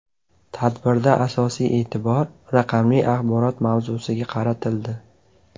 Tadbirda asosiy e’tibor raqamli axborot mavzusiga qaratildi.